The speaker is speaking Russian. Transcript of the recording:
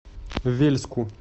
вельску